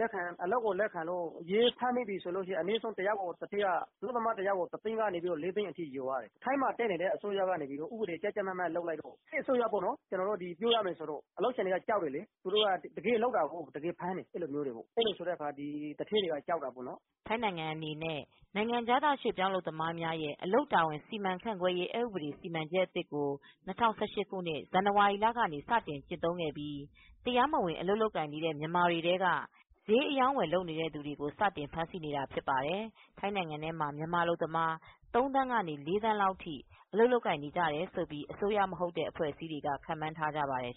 လက်ခံလို့ရဲဖမ်းပြီဆိုရင် အနည်းဆုံးအလုပ်သမားတယောက်ကို တသိန်းကနေ ၄သိန်းလောက်ထိလျော်ရမယ် ထိုင်းမှာတက်နေတဲ့အစိုးရကနေ ဥပဒေကိုကြပ်ကြပ်မတ်မတ်လုပ်လိုက်တော့ စစ်အစိုးရပေါ့နော် အလုပ်ရှင်တွေက ကြောက်တယ်။ သူတို့ကတကယ်လုပ်တော့ သူတို့ကကြောက်ကြတယ် တကယ်ဖမ်းတာကိုး အဲဒီတော့ သူဌေးတွေကကြောက်ကြတယ်" ထိုင်းနိုင်ငံအနေနဲ့ နိုင်ငံခြားသားရွှေ့ပြောင်းအလုပ်သမားများရဲ့အလုပ်တာဝန် စီမံခန့်ခွဲရေး အက်ဥပဒေစီမံချက်အသစ်ကို ၂၀၁၈ခုနှစ် ဇန်နဝါရီလကနေ စတင်ကျင့်သုံးခဲ့ပြီး တရားမဝင်အလုပ်လုပ်ကိုင်နေတဲ့မြန်မာတွေထဲက ဈေးရောင်းနေကြတဲ့သူတွေကို စတင်ဖမ်းဆီးနေတာဖြစ်ပါတယ်။ ထိုင်းနိုင်ငံမှာမြန်မာအလုပ်သမား ၃သန်းကနေ ၄သန်းလောက်အထိ အလုပ်လုပ်ကိုင်နေတယ်လို့အစိုးရမဟုတ်တဲ့အဖွဲအစည်းတွေက ခန့်မှန်းထားကြပါတယ်